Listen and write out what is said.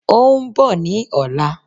Óún bọ̀ ní ọ̀la